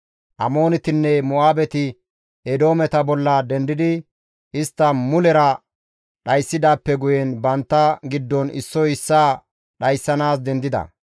Amoonetinne Mo7aabeti Eedoometa bolla dendidi istta mulera dhayssidaappe guyen bantta giddon issoy issaa dhayssanaas dendida.